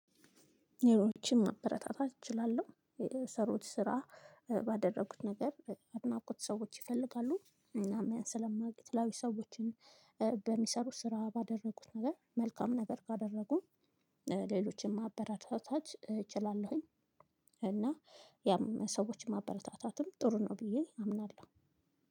ሰዎችን ማበረታታት እችላለሁ የሚሰሩት ስራ ባደረጉት ነገር አድናቆት ሰዎች ይፈልጋሉ እናም ያን ስለማግኘት ላይ ሰዎችን በሚሰሩ ስራ ባደረጉት ነገር መልካም ነበር ካደረጉ ሌሎችን ማበረታታት እችላለሁኝ። እና ያም ሰዎችን ማበረታታትም ጥሩ ነው ብዬ አምናለሁ።